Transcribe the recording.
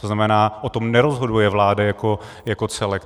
To znamená, o tom nerozhoduje vláda jako celek.